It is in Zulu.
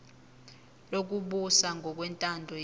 lokubusa ngokwentando yeningi